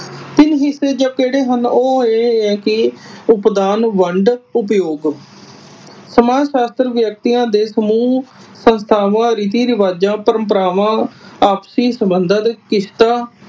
ਤਿੰਨ ਹਿਸੇ ਜੋ ਕਿਹੜੇ ਹਨ ਉਹ ਏ ਏਹ ਕਿ ਉਪਦਾਨ ਵੰਡ, ਉਪਯੋਗ । ਸਮਾਜ ਸ਼ਸਤਰ ਵਿਅਕਤੀਆਂ ਦੇ ਸਮੂਹ ਸੰਸਥਾਵਾਂ ਰੀਤੀ ਰਿਵਾਜ ਪ੍ਰੰਪਰਾਵਾਂ ਆਪਸੀ ਸੰਬੰਧਾ ਤੇ ਕਿਸ਼ਤਾਂ